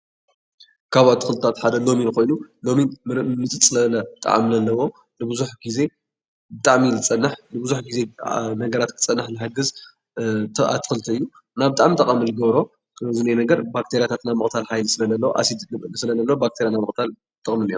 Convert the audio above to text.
ካብ ኣትክልትታት ሓደ ለሚን ኮይኑ ለሚን ምፅፅ ዝበለ ጣዕሚ ኣለዎ ንብዙሕ ግዜ ብጣዕሚ እዩ ዝፀንሕ ንብዙሕ ግዜ ነገራት ክፀንሕ ዝሕግዝ እቲ ኣትክልቲ ብጣዕሚ ጠቓሚ እዩ ዝገብሮ ኣብዚ ነገር ባክተርያታት ናይ ምቕታል ሓይሊ ስለ ዘለዎ ኣሲድ ስለዘለዎ ባክተርያታት ንምቕታል ይጠቕሙ እዮም ።